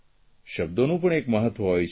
શબ્દોનું પણ એક મબત્વ હોય છે